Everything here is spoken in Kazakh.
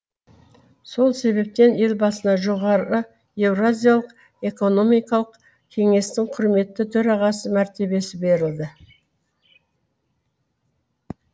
сол себептен елбасына жоғары еуразиялық экономикалық кеңестің құрметті төрағасы мәртебесі берілді